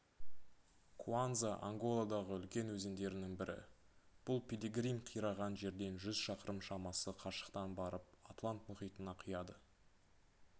куанза анголадағы үлкен өзендердің бірі бұл пилигрим қираған жерден жүз шақырым шамасы қашықтан барып атлант мұхитына құяды